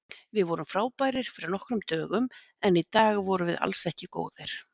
Við vorum frábærir fyrir nokkrum dögum en í dag vorum við alls ekki góðir.